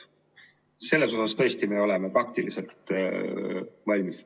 Selles osas tõesti me oleme praktiliselt valmis.